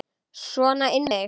Sona inn með þig!